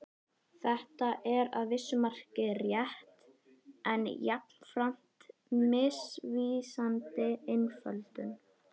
Þetta er að vissu marki rétt en jafnframt misvísandi einföldun.